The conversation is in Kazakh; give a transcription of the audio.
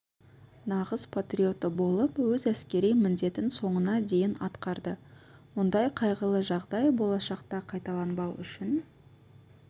нағыз патриоты болып өз әскери міндетін соңына дейін атқарды мұндай қайғылы жағдай болашақта қайталанбау үшін